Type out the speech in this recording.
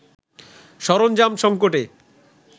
সরঞ্জাম সঙ্কটে